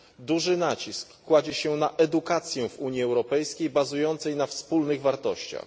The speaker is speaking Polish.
Duży nacisk kładzie się na edukację w Unii Europejskiej, bazującą na wspólnych wartościach.